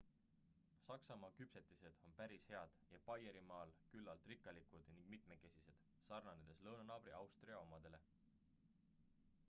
saksamaa küpsetised on päris head ja baierimaal küllalt rikkalikud ning mitmekesised sarnanedes lõunanaabri austria omadele